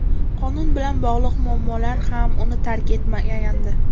Qonun bilan bog‘liq muammolar ham uni tark etmagandi.